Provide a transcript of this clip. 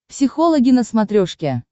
психологи на смотрешке